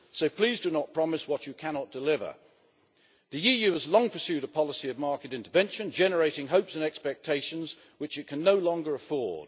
So please do not promise what you cannot deliver. The EU has long pursued a policy of market intervention, generating hopes and expectations, which it can no longer afford.